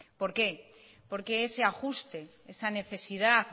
por qué porque ese ajuste esa necesidad